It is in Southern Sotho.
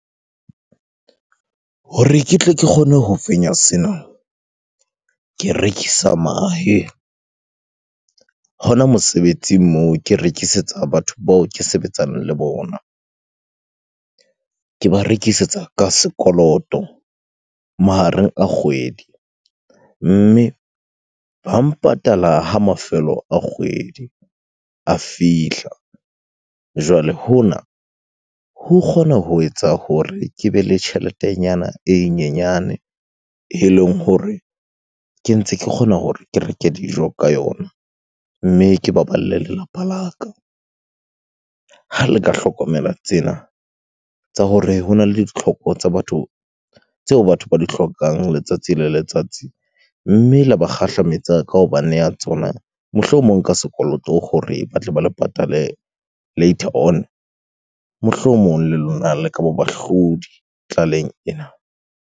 Hore ke tle ke kgone ho fenya sena, ke rekisa mahe. Hona mosebetsing moo, ke rekisetsa batho bao ke sebetsang le bona. Ke ba rekisetsa ka sekoloto mahareng a kgwedi, mme ba mpatala ha mafelo a kgwedi a fihla. Jwale hona, ho kgona ho etsa hore ke be le tjheletenyana e nyenyane eleng hore ke ntse ke kgona hore ke reke dijo ka yona, mme ke baballe lelapa la ka. Ha le ka hlokomela tsena tsa hore hona le ditlhoko tsa batho tseo batho ba di hlokang letsatsi le letsatsi, mme la ba kgahlametsa ka ho ba neya tsona. Mohlomong ka sekoloto hore batle ba le patale later on, mohlomong le lona le ka ba bahlodi tlaleng ena.